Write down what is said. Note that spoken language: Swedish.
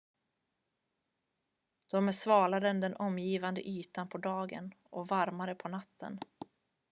"""de är svalare än den omgivande ytan på dagen och varmare på natten.